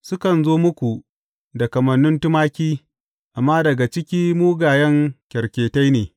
Sukan zo muku da kamannin tumaki, amma daga ciki mugayen kyarketai ne.